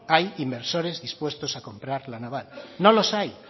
hay inversores dispuestos a comprar la naval no los hay